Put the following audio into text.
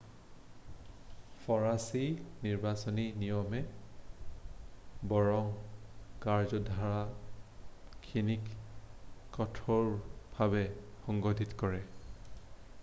ফৰাছী নিৰ্বাচনী নিয়মে বৰং কাৰ্য্যধাৰাখিনিক কঠোৰভাৱে সংঘটিত কৰে